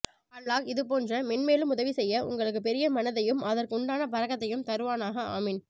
அல்லாஹ் இது போன்று மென்மேலும் உதவி செய்ய உங்களுக்கு பெரிய மனதையும் அதற்கு உண்டான பரக்கத்தையும் தருவானாக ஆமீன்